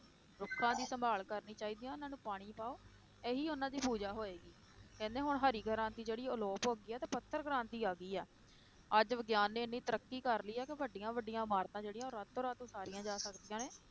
ਰੁੱਖਾਂ ਦੀ ਸੰਭਾਲ ਕਰਨੀ ਚਾਹੀਦੀ ਹੈ ਉਹਨਾਂ ਨੂੰ ਪਾਣੀ ਪਾਓ, ਇਹੀ ਉਹਨਾਂ ਦੀ ਪੂਜਾ ਹੋਏਗਾ, ਕਹਿੰਦੇ ਹੁਣ ਹਰੀ ਕ੍ਰਾਂਤੀ ਜਿਹੜੀ ਆਲੋਪ ਹੋ ਗਈ ਹੈ ਤੇ ਪੱਥਰ ਕ੍ਰਾਂਤੀ ਆ ਗਈ ਹੈ, ਅੱਜ ਵਿਗਿਆਨ ਨੇ ਇੰਨੀ ਤਰੱਕੀ ਕਰ ਲਈ ਹੈ ਕਿ ਵੱਡੀਆਂ ਵੱਡੀਆਂ ਇਮਾਰਤਾਂ ਜਿਹੜੀਆਂ ਉਹ ਰਾਤੋ ਰਾਤ ਉਸਾਰੀਆਂ ਜਾ ਸਕਦੀਆਂ ਨੇ,